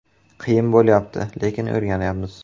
“Qiyin bo‘lyapti, lekin o‘rganyapmiz”.